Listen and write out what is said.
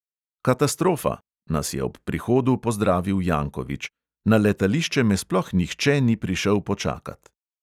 "Katastrofa," nas je ob prihodu pozdravil jankovič: "na letališče me sploh nihče ni prišel počakat."